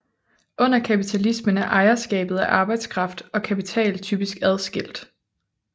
Under kapitalismen er ejerskabet af arbejdskraft og kapital typisk adskilt